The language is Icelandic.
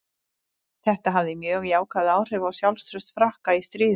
Þetta hafði mjög jákvæð áhrif á sjálfstraust Frakka í stríðinu.